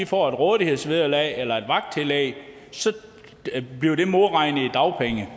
får et rådighedsvederlag eller et vagttillæg bliver det modregnet i dagpengene